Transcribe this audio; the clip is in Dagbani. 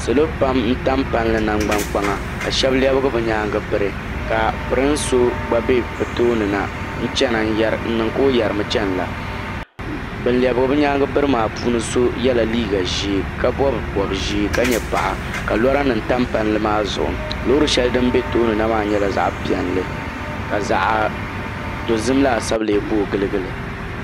Salo pam n tam palli nangban kpaŋa ka shɛba lɛbigi bi nyaanga biri ka pirin so gba bɛ bi tooni na n chana n niŋ ka o yari mi chana la bin lɛbigi bi nyaanga biri maa so yɛla liiga ʒee ka bɔbi bɔbi ʒee ka nyɛ paɣa ka lɔra nim tam palli maa zuɣu loori shɛli din bɛ tooni na maa nyɛla zaɣa piɛlli ka zaɣa dozim laasabu lee boogi giligi li.